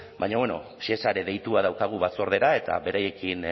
baina bueno shesa ere deitua daukagu batzordera eta beraiekin